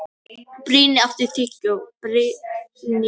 Brynný, áttu tyggjó?